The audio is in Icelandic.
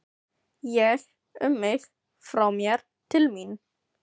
Ég, um mig, frá mér, til mín.